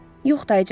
Yox, dayıcan.